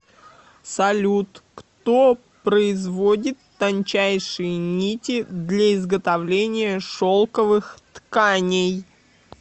салют кто производит тончайшие нити для изготовления шелковых тканей